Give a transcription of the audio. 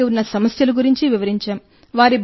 వారికి ఉన్న సమస్యల గురించి వివరించాం